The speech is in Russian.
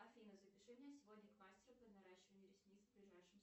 афина запиши меня сегодня к мастеру по наращиванию ресниц в ближайшем